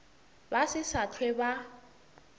ba se sa hlwe ba